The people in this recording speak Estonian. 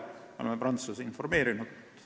Me oleme prantslasi sellest informeerinud.